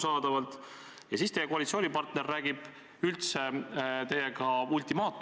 Sellise suvaõigusega – see on seesama suvaõigus, millest me räägime –, sellise suvaõigusega ei tohiks me keegi leppida.